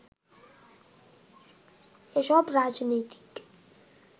এসব রাজনীতিক